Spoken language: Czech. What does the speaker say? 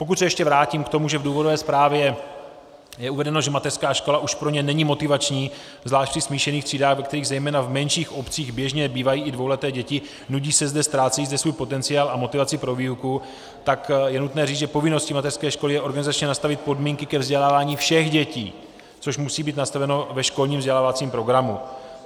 Pokud se ještě vrátím k tomu, že v důvodové zprávě je uvedeno, že mateřská škola už pro ně není motivační, zvlášť ve smíšených třídách, ve kterých zejména v menších obcích běžně bývají i dvouleté děti, nudí se zde, ztrácejí zde svůj potenciál a motivaci pro výuku, tak je nutné říct, že povinností mateřské školy je organizačně nastavit podmínky ke vzdělávání všech dětí, což musí být nastaveno ve školním vzdělávacím programu.